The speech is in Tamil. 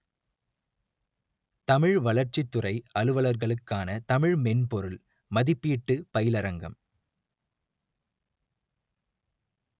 தமிழ் வளர்ச்சித்துறை அலுவலர்களுக்கான தமிழ் மென்பொருள் மதிப்பீட்டுப் பயிலரங்கம்